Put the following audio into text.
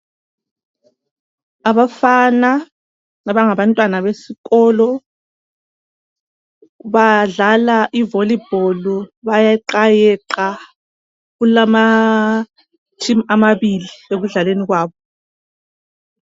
abafana abangabantwana besikolo badlala i volleyball bayeqayeqa kulama team amabili ekudlaleni kwabo